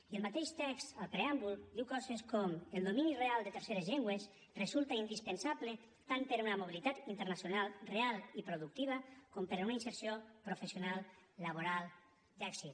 i el mateix text al preàmbul diu coses com el domini real de terceres llengües resulta indispensable tant per a una mobilitat internacional real i productiva com per a una inserció professional laboral d’èxit